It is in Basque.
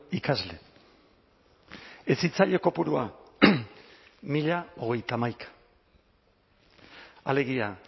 ikasle hezitzaile kopurua mila hogeita hamaika alegia